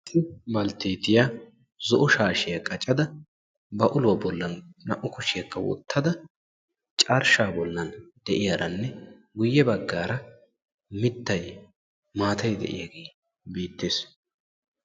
issi balteettiya zo'o shaashiya qaccada ba uluwa bollan naa'u kushiyaakka wottada carshaa de'iyaaranne guye bagaara mitay maatay de'iyaagee beetees.